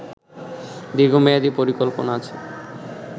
দীর্ঘ মেয়াদী পরিকল্পনা আছে